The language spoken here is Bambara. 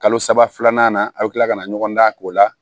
Kalo saba filanan na a bi kila ka na ɲɔgɔn dan k'o la